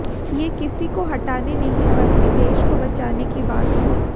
ये किसी को हटाने नहीं बल्कि देश को बचाने की बात है